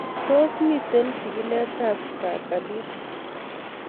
Tos mito chigilet ab stargardt